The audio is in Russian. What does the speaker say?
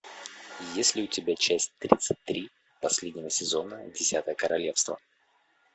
есть ли у тебя часть тридцать три последнего сезона десятое королевство